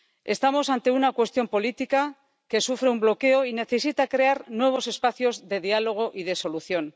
Estamos ante una cuestión política que sufre un bloqueo y necesita crear nuevos espacios de diálogo y de solución.